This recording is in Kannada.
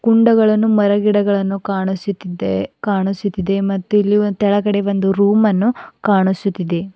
ಹೊಂಡಗಳನ್ನು ಮರ ಗಿಡಗಳನ್ನೂ ಕಾಣಿಸುತ್ತಿದ್ದೇ ಕಾಣಿಸುತ್ತಿದೆ ಮತ್ತು ಇಲ್ಲಿ ತೆಳಗಡೆ ಬಂದು ಒಂದು ರೂಮ್ ಅನ್ನು ಕಾಣಿಸುತ್ತಿದೆ.